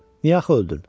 Niyə axı öldün?